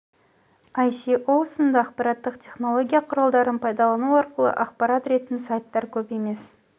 аісіосасо іоа сынды ақпараттық тенология құралдарын пайдалану арқылы ақпара ретін сайттар көп емес